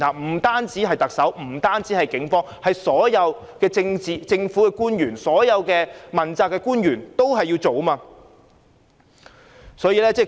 不單是特首和警方，所有政府官員和問責官員要一起行動。